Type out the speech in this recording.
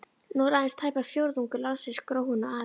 Nú er aðeins tæpur fjórðungur landsins gróinn og aðeins